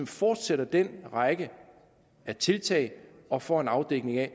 fortsætter den række af tiltag og får en afdækning af